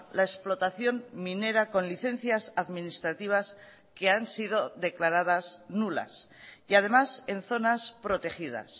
la explotación minera con licencias administrativas que han sido declaradas nulas y además en zonas protegidas